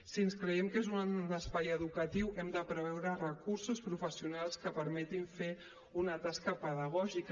si ens creiem que és un espai educatiu hem de preveure recursos professionals que permetin fer una tasca pedagògica